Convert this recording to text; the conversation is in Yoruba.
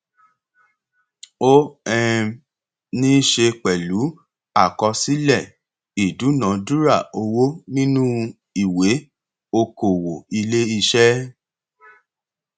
ó um ní í ṣe pẹlú àkọsílẹ ìdúnadúrà owó nínú ìwé okòwò iléiṣẹ